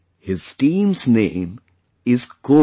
His team's name is Cobra